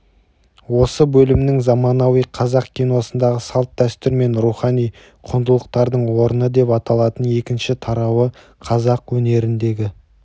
осы бөлімнің заманауи қазақ киносындағы салт-дәстүр мен рухани құндылықтардың орны деп аталатын екінші тарауы қазақ өнеріндегі